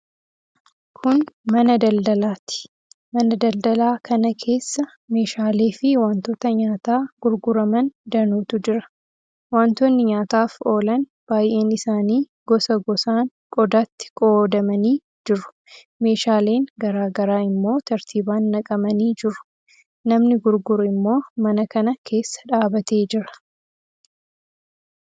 Kun mana daldalaati. Mana daldalaa kana keessa meeshaaleefi wantoota nyaataa gurguraman danuutu jira. Wantoonni nyaataaf oolan baay'een isaanii gosa gosaan qodaatti qoodamanii jiru. Meeshaaleen garaa garaa immoo tartiibaan naqamanii jiru. Namni gurguru immoo mana kana keessa dhaabbatee jira.